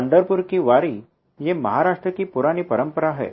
पंढरपुर की वारी ये महाराष्ट्र की पुरानी परंपरा है